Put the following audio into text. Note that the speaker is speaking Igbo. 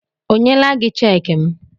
O nyela gị cheekị m?